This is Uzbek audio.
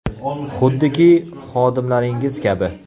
Xuddiki, xodimlaringiz kabi.